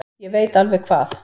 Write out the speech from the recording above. Ég veit alveg hvað